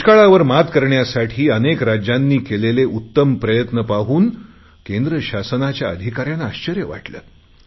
दुष्काळावर मात करण्यासाठी अनेक राज्यांनी केलेले उत्तम प्रयत्न पाहून केंद्र शासनाच्या अधिकाऱ्यांना अाश्चर्य वाटले